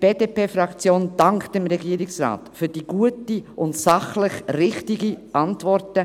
Die BDP-Fraktion dankt dem Regierungsrat für die gute und sachlich richtige Antwort.